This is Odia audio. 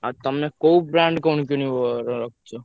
ଆଉ ତମେ କୋଉ brand କଣ କିଣିବ ~ର ରଖିଛ?